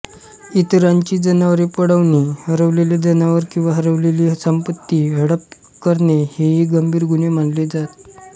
इतरांची जनावरे पळवणे हरवलेले जनावर किंवा हरवलेली संपत्ती हडप करणे हेही गंभीर गुन्हे मानले जात